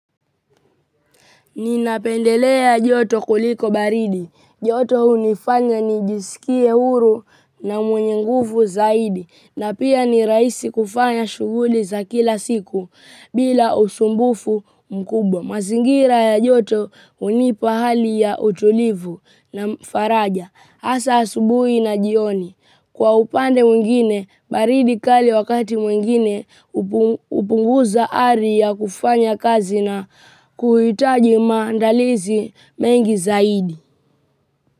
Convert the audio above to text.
Nina pendelea joto kuliko baridi. Joto hunifanya nijisikie huru na mwenye nguvu zaidi. Na pia ni rahisi kufanya shughuli za kila siku bila usumbufu mkubwa. Mazingira ya joto hunipa hali ya utulivu na faraja. Hasa asubuhi na jioni. Kwa upande mwingine, baridi kali wakati mwingine, upunguza ari ya kufanya kazi na kuhitaji maandalizi mengi zaidi.